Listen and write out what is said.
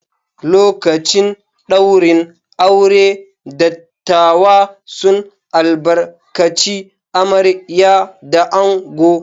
Lokacin ɗaurin aure, dattawa sun albarkaci amarya da ango.